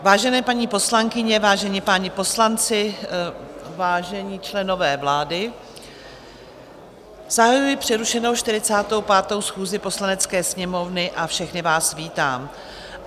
Vážené paní poslankyně, vážení páni poslanci, vážení členové vlády, zahajuji přerušenou 45. schůzi Poslanecké sněmovny a všechny vás vítám.